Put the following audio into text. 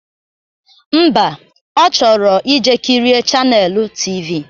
Ḿbà, Ọ chọrọ ije kirie chaneelụ tv